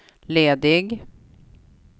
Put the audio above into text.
ledig